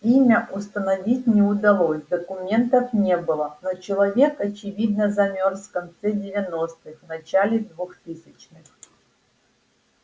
имя установить не удалось документов не было но человек очевидно замёрз в конце девяностых начале двухтысячных